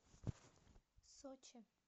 сочи